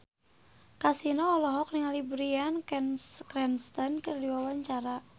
Kasino olohok ningali Bryan Cranston keur diwawancara